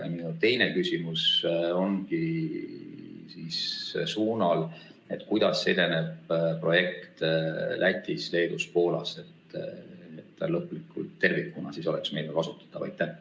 Ja minu teine küsimus ongi selle kohta, kuidas edeneb projekt Lätis, Leedus ja Poolas, et ta lõplikult, tervikuna oleks meil kasutatav.